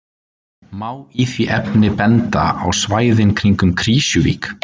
Má í því efni benda á svæðin kringum Krýsuvík